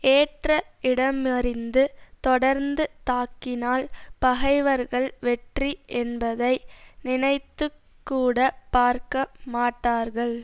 ஏற்ற இடமறிந்து தொடர்ந்து தாக்கினால் பகைவர்கள் வெற்றி என்பதை நினைத்து கூட பார்க்க மாட்டார்கள்